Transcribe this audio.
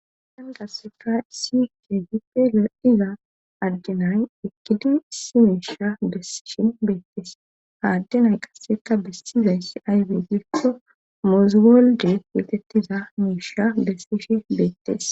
Dangas fray sikeefi pele7iza addenay ekkidi simiisha desshin beettes haaddenay qasseka bessizayssi aywey girso mooziwolde yeetettiza miisha dessishe beettes.